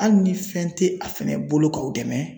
Ali ni fɛn te a fɛnɛ bolo k'aw dɛmɛ